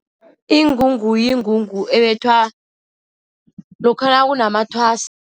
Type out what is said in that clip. Ingungu, yingungu ebethwa lokha nakunamathwasa.